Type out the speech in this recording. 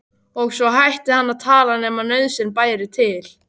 Og svo hætti hann að tala nema nauðsyn bæri til.